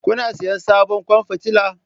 Kuna sayen sabon kwan fitila?